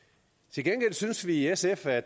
til gengæld synes vi i sf at